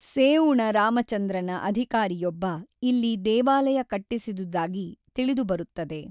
ಸೇಉಣ ರಾಮಚಂದ್ರನ ಅಧಿಕಾರಿಯೊಬ್ಬ ಇಲ್ಲಿ ದೇವಾಲಯ ಕಟ್ಟಿಸಿದುದಾಗಿ ತಿಳಿದುಬರುತ್ತದೆ.